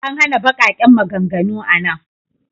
An hana baƙaƙen maganganu a nan.